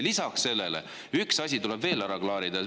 Lisaks sellele tuleb veel üks asi ära klaarida.